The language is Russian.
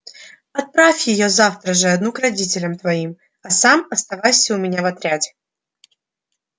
отправь её завтра же одну к родителям твоим а сам оставайся у меня в отряде